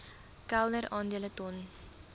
kelder aandele ton